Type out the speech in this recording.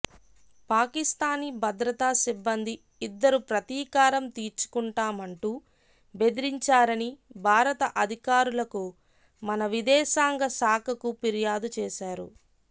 పాకిస్థానీ భద్రతా సిబ్బంది ఇద్దరు ప్రతీకారం తీర్చుకుంటామంటూ బెదిరించారని భారత అధికారులకు మన విదేశాంగ శాఖకు ఫిర్యాదు చేశారు